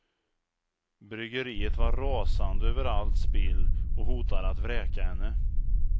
Bryggeriet var rasande över allt spill, och hotade att vräka henne.